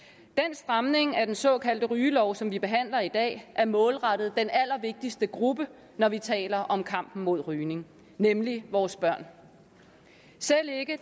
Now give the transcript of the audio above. stramning af den såkaldte rygelov som vi behandler i dag er målrettet den allervigtigste gruppe når vi taler om kampen mod rygning nemlig vores børn selv ikke